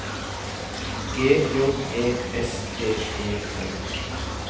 G J E S T E N